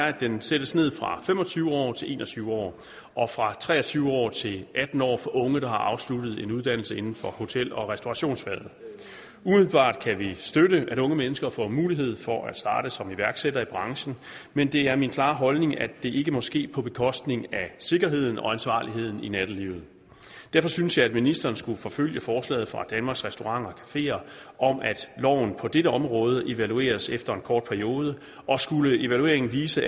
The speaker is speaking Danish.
at den sættes ned fra fem og tyve år til en og tyve år og fra tre og tyve år til atten år for unge der har afsluttet en uddannelse inden for hotel og restaurationsfaget umiddelbart kan vi støtte at unge mennesker får mulighed for at starte som iværksættere i branchen men det er min klare holdning at det ikke må ske på bekostning af sikkerheden og ansvarligheden i nattelivet derfor synes jeg at ministeren skulle forfølge forslaget fra danmarks restauranter cafeer om at loven på dette område evalueres efter en kort periode og skulle evalueringen vise